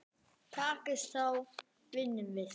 Takist það þá vinnum við.